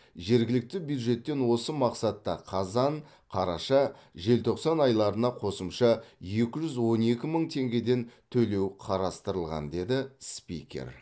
жергілікті бюджеттен осы мақсатта қазан қараша желтоқсан айларына қосымша екі жүз он екі мың теңгеден төлеу қарастырылған деді спикер